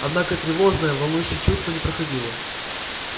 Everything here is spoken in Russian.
однако тревожное волнующее чувство не проходило